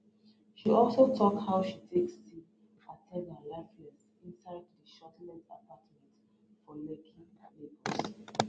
she also tok how she take see ataga lifeless inside di shortlet apartment for lekki lagos